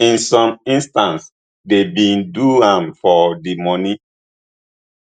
in some instances dey bin do am for di money